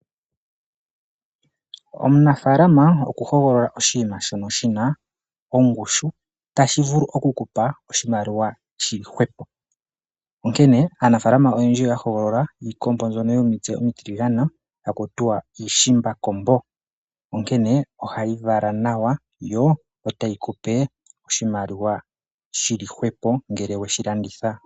Omunafalama oku hogolola oshinima shono shina ongushu tashi vulu okukupa oshimaliwa shili hwepo. Onkene aanafalama oyendji oya hogolola iikombo mbyono yomitse omitiligane haku tiwa iishimbakombo. Onkene ohayi vala nawa yo otayi kupe oshimaliwa shili hwepo ngele weshi landitha.